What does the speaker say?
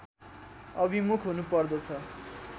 अभिमुख हुनुपर्दछ